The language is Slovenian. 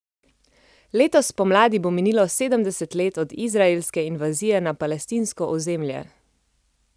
Letos spomladi bo minilo sedemdeset let od izraelske invazije na palestinsko ozemlje.